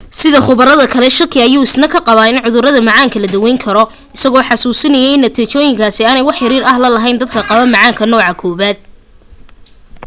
sida khubarada kale shaki ayuu isna ka qabaa in cudurka macaanka la dawayn karo isagoo xasuusinaya in natiijooyinkaasi aanay wax xiriir ah la lahayn dadka qaba macaanka nooca 1